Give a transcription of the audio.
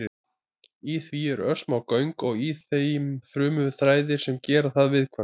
Í því eru örsmá göng og í þeim frumuþræðir sem gera það viðkvæmt.